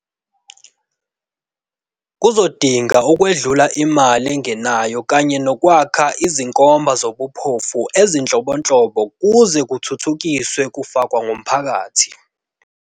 kuzodinga ukwedlula imali engenayo kanye nokwakha izinkomba zobuphofu ezinhlobonhlobo kuze kuthuthukiswe kufakwa komphakathi.